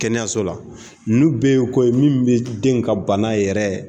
Kɛnɛyaso la ninnu bɛɛ ye ko ye min bɛ den ka bana yɛrɛ